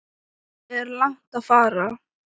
Er langt að fara?